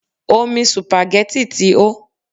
Omi supagẹ́tì ti hó.